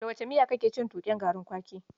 Da wace miya kake cin tuƙen garin kwaki?